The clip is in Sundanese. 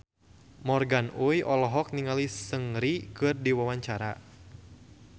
Morgan Oey olohok ningali Seungri keur diwawancara